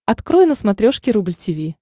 открой на смотрешке рубль ти ви